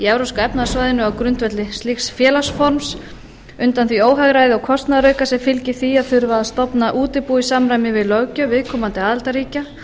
evrópska efnahagssvæðisins á grundvelli slíks félagsforms undan því óhagræði og kostnaðarauka sem fylgir því að þurfa að stofna útibú í samræmi við löggjöf viðkomandi aðildarríkja